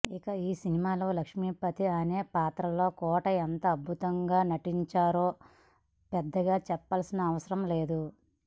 ఇక ఈ సినిమాలో లక్ష్మీపతి అనే పాత్రలో కోటా ఎంత అద్భుతంగా నటించారో పెద్దగా చెప్పాల్సిన అవసరం లేదు